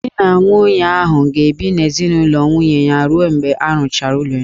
Di na nwunye ahụ ga-ebi n'ezinaụlọ nwunye ya ruo mgbe a rụchara ụlọ ha